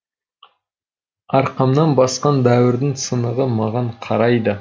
арқамнан басқан дәуірдің сынығы маған қарайды